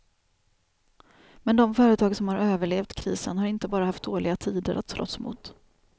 Men de företag som har överlevt krisen har inte bara haft dåliga tider att slåss mot.